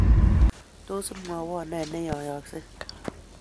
Tos, imwowon ne neyeyosgei?